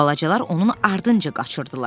Balacalar onun ardınca qaçırdılar.